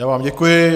Já vám děkuji.